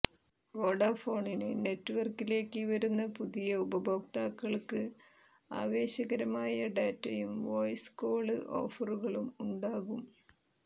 Vodafone നെറ്റ്വര്ക്കിലേക്ക് വരുന്ന പുതിയ ഉപഭോക്താക്കള്ക്ക് ആവേശകരമായ ഡാറ്റയും വോയിസ് കോള് ഓഫറുകളും ഉണ്ടാകും